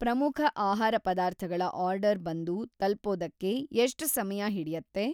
ಪ್ರಮುಖ ಆಹಾರ ಪದಾರ್ಥಗಳ ಆರ್ಡರ್‌ ಬಂದು ತಲುಪೋದಕ್ಕೆ ಎಷ್ಟ್‌ ಸಮಯ ಹಿಡಿಯತ್ತೆ?